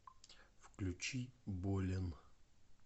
включи болен